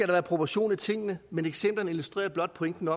være proportion i tingene men eksemplerne illustrerer blot pointen